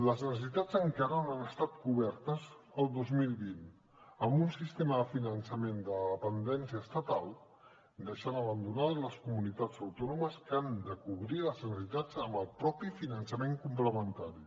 les necessitats encara no han estat cobertes el dos mil vint amb un sistema de finançament de dependència estatal que ha deixat abandonades les comunitats autònomes que han de cobrir les necessitats amb el mateix finançament complementari